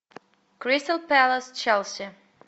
кристал пэлас челси